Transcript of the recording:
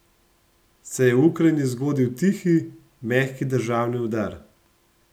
Se je v Ukrajini zgodil tihi, mehki državni udar?